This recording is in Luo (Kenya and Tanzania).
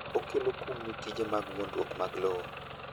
okelo kum ni tije mag wuondruok mag lowo